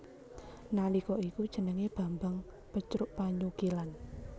Nalika iku jenengé Bambang Pecrukpanyukilan